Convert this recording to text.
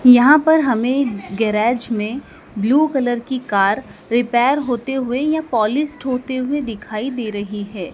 यहां पर हमें गैरेज में ब्लू कलर की कार रिपेयर होते हुए या पॉलिश होते हुए दिखाई दे रही है।